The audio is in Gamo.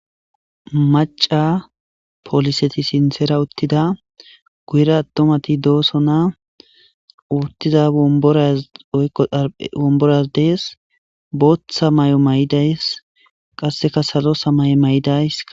Maca pooliseti sinsera uttida guyra attomati dooso na uttiza oraoykko omboraz dees booththa may'o may'idays qasseka salo samay'e may'idays.